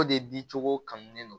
O de bin cogo kanulen don